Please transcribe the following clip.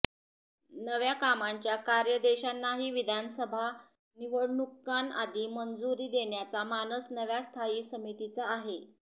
नव्या कामांच्या कार्यादेशांनाही विधानसभा निवडणुकांआधी मंजुरी देण्याचा मानस नव्या स्थायी समितीचा आहे